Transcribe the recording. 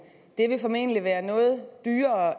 formentlig være noget dyrere